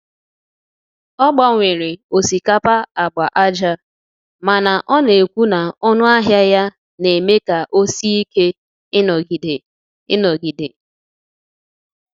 Ọ gbanwere osikapa agba aja mana ọ na-ekwu na ọnụ ahịa ya na-eme ka ọ sie ike ịnọgide. ịnọgide.